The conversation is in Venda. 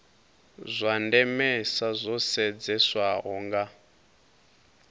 zwa ndemesa zwo sedzeswaho nga